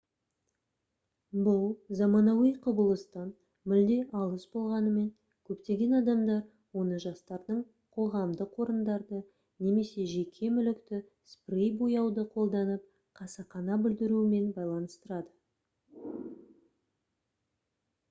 бұл заманауи құбылыстан мүлде алыс болғанымен көптеген адамдар оны жастардың қоғамдық орындарды немесе жеке мүлікті спрей бояуды қолданып қасақана бүлдіруімен байланыстырады